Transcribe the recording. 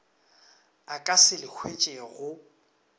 a ka se le hwetšego